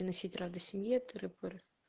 носить рода семье тыры-пыры